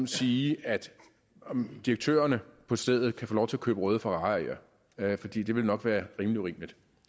sige at direktørerne på stedet kan få lov til at købe røde ferrarier fordi det ville nok være rimelig urimeligt